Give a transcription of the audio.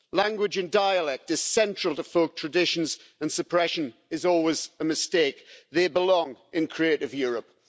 Language and dialect is central to folk traditions, and suppression is always a mistake. They belong in Creative Europe.